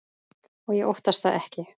Og ég óttast það ekki.